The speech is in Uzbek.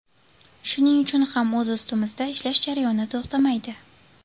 Shuning uchun ham o‘z ustimizda ishlash jarayoni to‘xtamaydi.